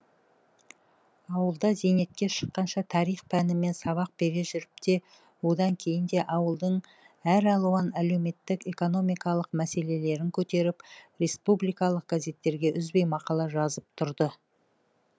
ауылда зейнетке шыққанша тарих пәнінен сабақ бере жүріп те одан кейін де ауылдың әралуан әлеуметтік экономикалық мәселелерін көтеріп республикалық газеттерге үзбей мақала жазып тұрды